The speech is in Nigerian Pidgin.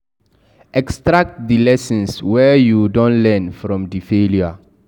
Extract di lessons wey you don learn from di failure